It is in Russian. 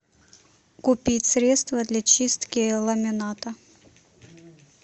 купить средство для чистки ламината